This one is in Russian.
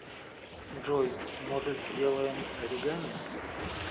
джой может сделаем оригами